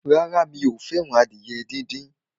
Rárá, mi ò fẹ́ràn adìyẹ díndín.